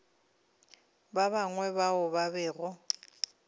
ba bangwe bao ba bego